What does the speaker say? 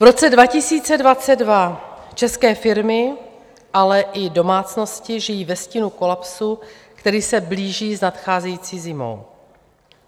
V roce 2022 české firmy, ale i domácnosti žijí ve stínu kolapsu, který se blíží s nadcházející zimou.